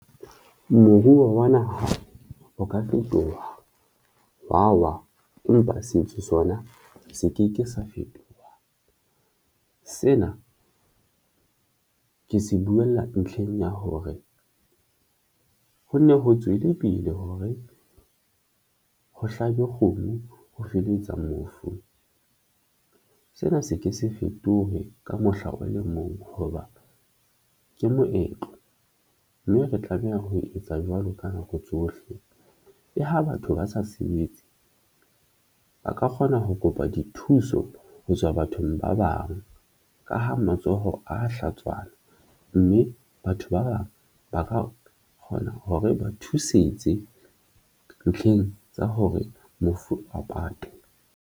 Moruo wa naha o ka fetoha wa wa, empa setso sona se ke ke sa fetoha. Sena ke se buwella ntlheng ya hore ho nne ho tswele pele hore ho hlabe kgomo ho feletsa mofu sena se ke se fetohe ka mohla o le mong hoba ke moetlo mme re tlameha ho etsa jwalo ka nako tsohle le ha batho ba sa sebetse ba ka kgona ho kopa dithuso ho tswa bathong ba bang ka ha matsoho a ya hlatswana mme batho ba bang ba ka kgona hore ba thusetse ntlheng tsa hore mofu a patwe.